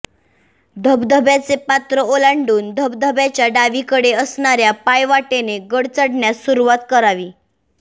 धबधब्याचे पात्र ओलांडून धबधब्याच्या डावीकडे असणाऱ्या पाय वाटेने गड चढण्यास सुरवात करावी